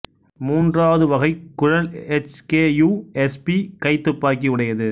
மூன்றாவது வகை குழல் H K U S P கைத்துப்பாக்கி உடையது